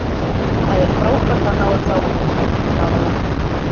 Það er frábært að ná að klára þetta eftir að hafa lent undir.